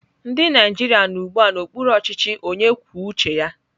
Ndị Naijiria nọ ugbu a n'okpuru ọchịchị onye kwuo uche ya.